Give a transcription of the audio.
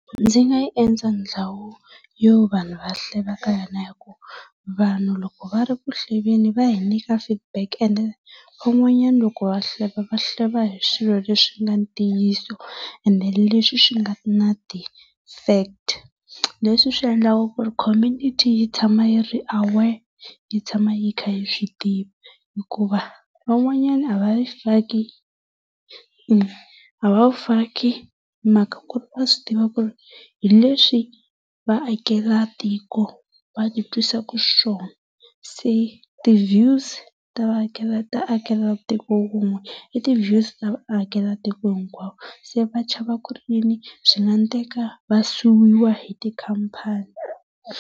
Ndzi nga yi endla ndhawu yo vanhu va hleva eka yona hi ku vanhu loko va ri ku hlwvwni va hi nyika feedback ende van'wanyana loko va hleva va hleva hi swilo leswi swi nga ntiyiso ende leswi swi ga na ti fact. Leswi swi endlaka ku ri community yi tshama yi ri aware, yi tshama yi kha yi swi tiva. Hikuva van'wanyana a va yi faki, a va wu faki hi mhaka ku ri va swi tiva ku ri hi leswi vaakatiko va ti twisaka xiswona. Se ti views ta wun'we i ti views ta vaakelatiko hinkwavo. Se va chava ku ri yini, swi nga endleka va suwiwa hi tikhamphani.